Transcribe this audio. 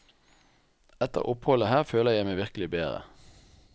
Etter oppholdet her føler jeg meg virkelig bedre.